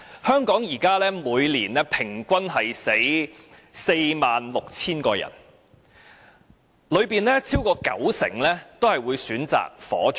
香港現時每年平均有 46,000 人死亡，當中超過九成均會選擇火葬。